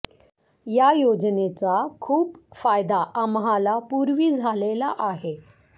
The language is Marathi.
या योजनेचा खूप फायदा आम्हाला पूर्वी झालेला आहे